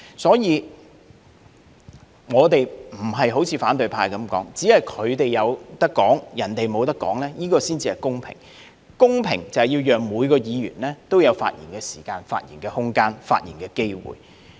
所以，我們並非好像反對派所說的，只有他們才可以發言，別人不能發言才是公平，公平是要讓每一位議員也有發言時間、發言空間和發言機會。